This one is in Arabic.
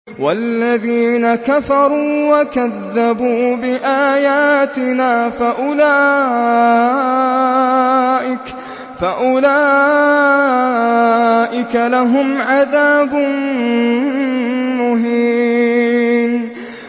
وَالَّذِينَ كَفَرُوا وَكَذَّبُوا بِآيَاتِنَا فَأُولَٰئِكَ لَهُمْ عَذَابٌ مُّهِينٌ